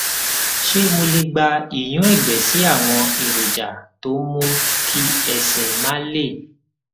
ṣé mo lè gba ìyúnẹgbẹ sí àwọn èròjà tó ń mú kí ẹsè máa le